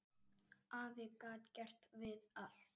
Afi gat gert við allt.